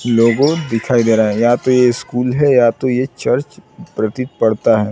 लोगो दिखाई दे रहा है या तो ये स्कूल है या तो ये चर्च प्रतीत पड़ता है।